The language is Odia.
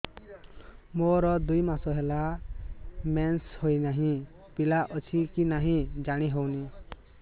ମୋର ଦୁଇ ମାସ ହେଲା ମେନ୍ସେସ ହୋଇ ନାହିଁ ପିଲା ଅଛି କି ନାହିଁ ଜାଣି ହେଉନି